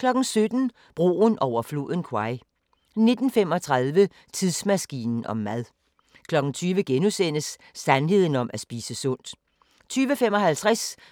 17:00: Broen over floden Kwai 19:35: Tidsmaskinen om mad 20:00: Sandheden om at spise sundt * 20:55: